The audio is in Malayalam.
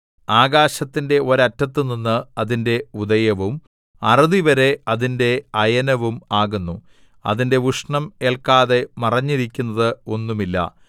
ആകാശത്തിന്റെ ഒരറ്റത്തുനിന്ന് അതിന്റെ ഉദയവും അറുതിവരെ അതിന്റെ അയനവും ആകുന്നു അതിന്റെ ഉഷ്ണം ഏല്ക്കാതെ മറഞ്ഞിരിക്കുന്നത് ഒന്നുമില്ല